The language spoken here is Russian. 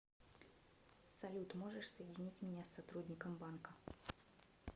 салют можешь соединить меня с сотрудником банка